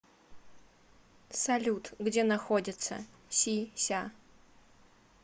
салют где находится си ся